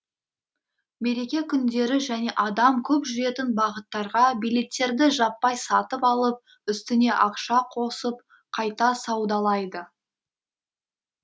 мереке күндері және адам көп жүретін бағыттарға билеттерді жаппай сатып алып үстіне ақша қосып қайта саудалайды